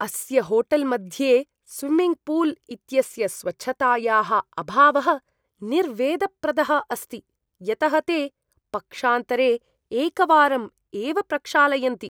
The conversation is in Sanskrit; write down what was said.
अस्य होटेल् मध्ये स्विम्मिङ्ग् पूल् इत्यस्य स्वच्छतायाः अभावः निर्वेदप्रदः अस्ति, यतः ते पक्षान्तरे एकवारम् एव प्रक्षालयन्ति।